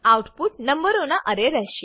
output નંબરોના અરે રહેશે